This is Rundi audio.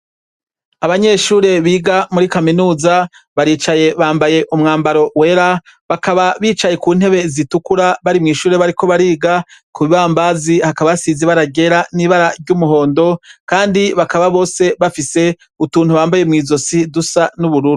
Abanyeshure biga muri Kaminuza baricaye bambaye umwambaro wera, bakaba bicaye kuntebe zitukura bari mwishure bariko bariga, kubibambazi hakaba hasize ibara ryara n'ibara ryumuhondo kandi bakaba bose bafise utuntu bambaye mw'izosi dusa nubururu.